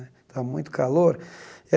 Estava muito calor. Eh